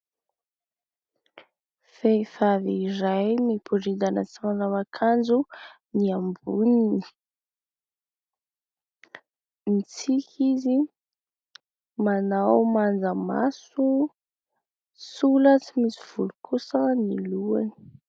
Vehivavy iray miboridana tsy manao akanjo, miamboho, mitsiky izy, manao manjamaso. Sola tsy misy volo kosa ny lohany.